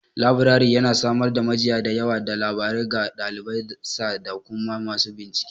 Labirari yana samar da majiya da yawa ta labarai ga ɗaliban sa da kuma masu bincike.